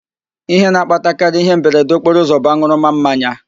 Ihe na-akpatakarị ịhe mberede okporoụzọ bụ an̄ụrụma mmanya